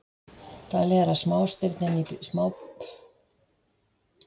Talið er að smástirnin í smástirnabeltinu séu líka gerð úr þessu byggingarefni.